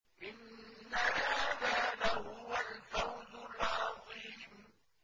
إِنَّ هَٰذَا لَهُوَ الْفَوْزُ الْعَظِيمُ